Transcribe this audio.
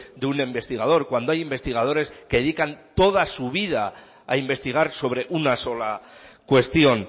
de un investigador cuando hay investigadores que dedican toda su vida a investigar sobre una sola cuestión